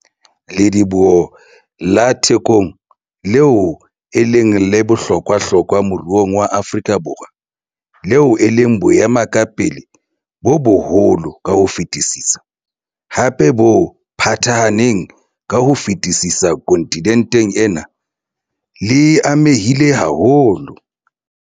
Lediboho la Thekong, leo e leng la bohlokwahlokwa moruong wa Afrika Borwa, leo e leng boemakepe bo boholo ka ho fetisisa, hape bo phathahaneng ka ho fetisisa kontinenteng ena, le amehile haholo.